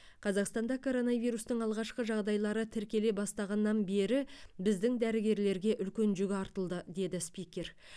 қазақстанда коронавирустың алғашқы жағдайлары тіркеле бастағаннан бері біздің дәрігерлерге үлкен жүк артылды деді спикер